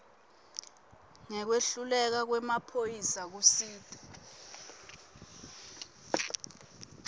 ngekwehluleka kwemaphoyisa kusita